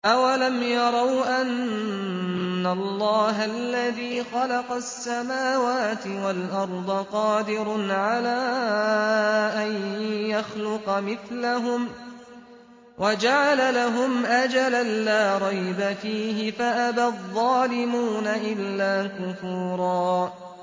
۞ أَوَلَمْ يَرَوْا أَنَّ اللَّهَ الَّذِي خَلَقَ السَّمَاوَاتِ وَالْأَرْضَ قَادِرٌ عَلَىٰ أَن يَخْلُقَ مِثْلَهُمْ وَجَعَلَ لَهُمْ أَجَلًا لَّا رَيْبَ فِيهِ فَأَبَى الظَّالِمُونَ إِلَّا كُفُورًا